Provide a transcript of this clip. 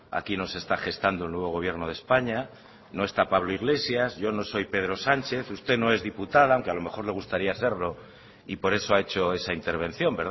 aquí no se está gestando el nuevo gobierno de españa no está pablo iglesias yo no soy pedro sánchez usted no es diputada aunque a lo mejor le gustaría serlo y por eso ha hecho esa intervención